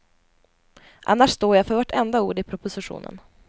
Annars står jag för vartenda ord i propositionen.